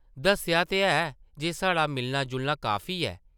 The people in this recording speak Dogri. दस्सेआ ते है जे साढ़ा मिलना-जुलना काफी ऐ ।